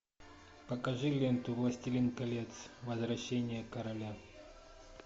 покажи ленту властелин колец возвращение короля